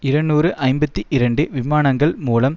இருநூறு ஐம்பத்தி இரண்டு விமானங்கள் மூலம்